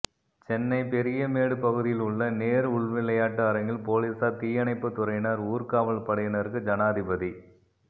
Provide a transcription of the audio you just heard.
சென்னை பெரியமேடு பகுதியில் உள்ள நேரு உள்விளையாட்டு அரங்கில் போலீசார் தீயணைப்பு துறையினர் ஊர்காவல் படையினருக்கு ஜனாதிபதி